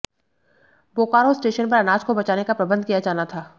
Bokaro station पर अनाज को बचाने का प्रबंध किया जाना था